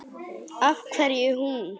Af hverju hún?